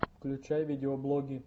включай видеоблоги